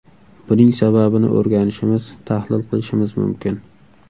Buning sababini o‘rganishimiz, tahlil qilishimiz mumkin.